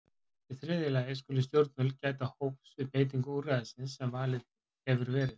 Í þriðja lagi skulu stjórnvöld gæta hófs við beitingu úrræðisins sem valið hefur verið.